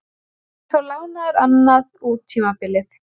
Hann verður þó lánaður annað út tímabilið.